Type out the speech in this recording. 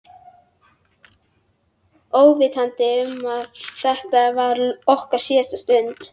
Óvitandi um að þetta var okkar síðasta stund.